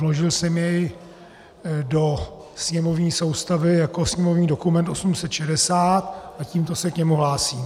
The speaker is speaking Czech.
Vložil jsem jej do sněmovní soustavy jako sněmovní dokument 860 a tímto se k němu hlásím.